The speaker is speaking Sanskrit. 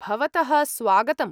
भवतः स्वागतम्‌।